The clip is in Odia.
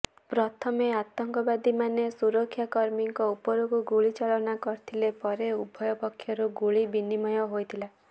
ପ୍ରଥମେ ଆତଙ୍କବାଦୀମାନେ ସୁରକ୍ଷାକର୍ମୀଙ୍କ ଉପରକୁ ଗୁଳି ଚାଳନା କରିଥିଲେ ପରେ ଉଭୟ ପକ୍ଷରୁ ଗୁଳି ବିନିମୟ ହୋଇଥିଲା